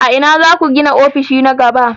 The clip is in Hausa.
A ina za ku gina ofishi na gaba?